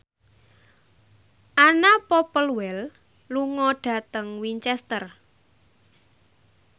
Anna Popplewell lunga dhateng Winchester